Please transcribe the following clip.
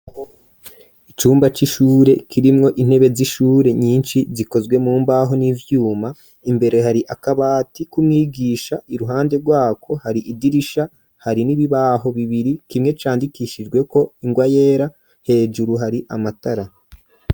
icumba c'ishure kirimwo intebe z'ishure nyinshi zikozwe mumbaho n'ivyuma , imbere hari akabati kumwigisha, iruhande rwako hari idirisha, hari n'ibibaho bibiri kimwe candikishijweko ingwa yera, hejuru hari amatara